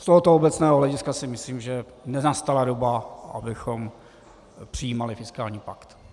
Z tohoto obecného hlediska si myslím, že nenastala doba, abychom přijímali fiskální pakt.